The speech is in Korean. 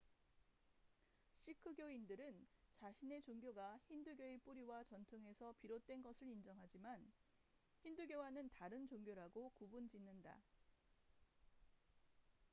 시크교인들은 자신의 종교가 힌두교의 뿌리와 전통에서 비롯된 것을 인정하지만 힌두교와는 다른 종교라고 구분 짓는다